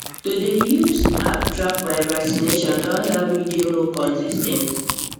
to dey use app take track my vaccination don help me dey more consis ten t